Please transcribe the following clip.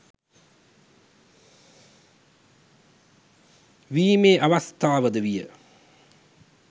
වීමේ අවස්ථාවද විය.